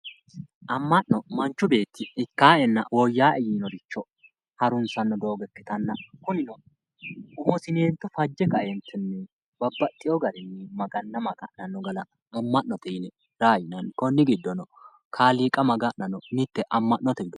Amma'no Manchu beetti ikkaaenna woyyawoe yiinoricho Harunsanno doogo ikkitanna umosineente fajje kae babbaxewo gari maganna maga'nanno gara raa yinanni konni giddono kaaliqa maga'nanno mittete